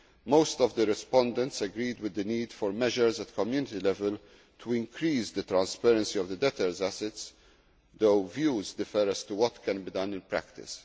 Most of the respondents agreed with the need for measures at Community level to increase the transparency of debtors' assets, though views differ as to what can be done in practice.